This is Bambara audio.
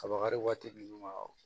Kabakari waati ninnu